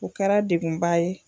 O kɛra degunba ye